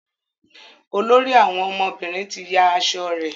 olórí àwọn ọmọbìnrin tí yá aṣọ rẹ.